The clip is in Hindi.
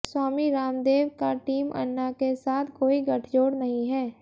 स्वामी रामदेव का टीम अन्ना के साथ कोई गठजोड़ नहीं है